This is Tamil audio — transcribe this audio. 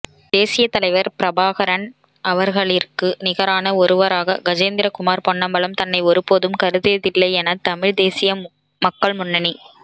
தேசியத் தலைவர் பிரபாகரன் அவர்களிற்கு நிகரான ஒருவராக கஜேந்திரகுமார் பொன்னம்பலம் தன்னை ஒருபோதும் கருதியதில்லையென தமிழ் தேசிய மக்கள் முன்னணி